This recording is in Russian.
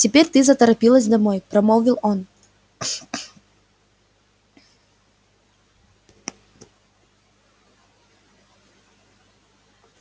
теперь ты заторопилась домой промолвил он